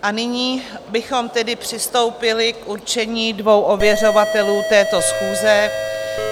A nyní bychom tedy přistoupili k určení dvou ověřovatelů této schůze.